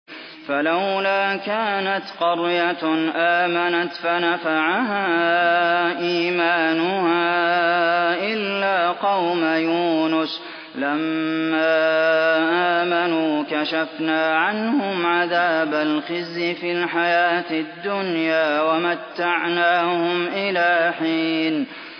فَلَوْلَا كَانَتْ قَرْيَةٌ آمَنَتْ فَنَفَعَهَا إِيمَانُهَا إِلَّا قَوْمَ يُونُسَ لَمَّا آمَنُوا كَشَفْنَا عَنْهُمْ عَذَابَ الْخِزْيِ فِي الْحَيَاةِ الدُّنْيَا وَمَتَّعْنَاهُمْ إِلَىٰ حِينٍ